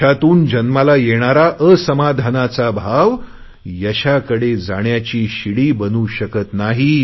यशातून जन्माला येणारा असमाधानाचा भाव यशाकडे जाण्याची शिडी बनू शकत नाही